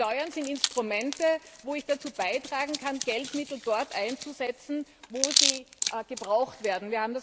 Steuern sind Instrumente, mit denen ich dazu beitragen kann, Geldmittel dort einzusetzen, wo sie gebraucht werden.